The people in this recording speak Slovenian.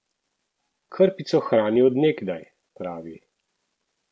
Krpico hrani od nekdaj, pravi.